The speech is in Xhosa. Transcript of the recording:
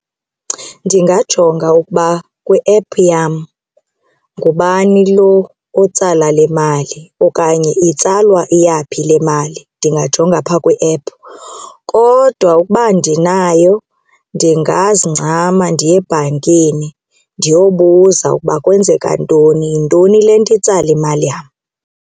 Ndingajonga ukuba kwi-app yam ngubani lo otsala le mali okanye itsalwa iyaphi le mali, ndingajonga phaa kwi-app. Kodwa ukuba andinayo ndingazincama ndiye ebhankini ndiyobuza ukuba kwenzeka ntoni, yintoni le nto itsala imali yam.